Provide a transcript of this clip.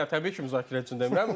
Yox, təbii ki, müzakirə üçün demirəm.